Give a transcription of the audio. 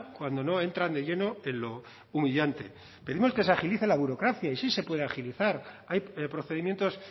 cuando no entran de lleno en lo humillante pedimos que se agilice la burocracia y sí se puede agilizar hay procedimientos